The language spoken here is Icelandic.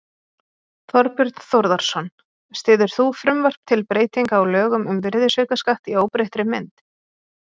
Þorbjörn Þórðarson: Styður þú frumvarp til breytinga á lögum um virðisaukaskatt í óbreyttri mynd?